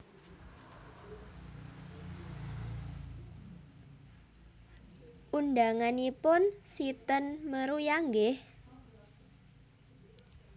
Undanganipun si ten Meruya nggih